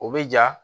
O bɛ ja